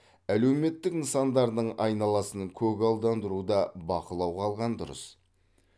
әлеуметтік нысандардың айналасын көгалдандыруда бақылауға алған дұрыс